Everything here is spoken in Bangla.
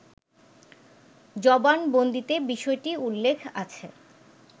জবানবন্দিতে বিষয়টি উল্লেখ করেন